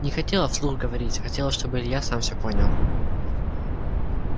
не хотела вслух говорить хотела чтобы илья сам все понял